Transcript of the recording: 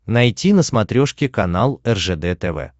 найти на смотрешке канал ржд тв